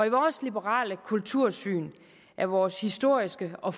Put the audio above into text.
i vores liberale kultursyn er vores historiske og